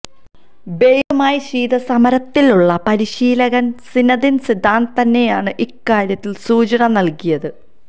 ബെയിലുമായി ശീതസമരത്തിലുള്ള പരിശീലകൻ Zinedine Zidane തന്നെയാണ് ഇക്കാര്യത്തിൽ സൂചന നൽകിയത്